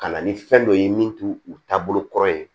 Ka na ni fɛn dɔ ye min t'u u taabolo kɔrɔ ye